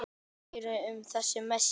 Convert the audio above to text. Meira um þessi mót síðar.